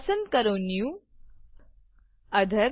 પસંદ કરો new author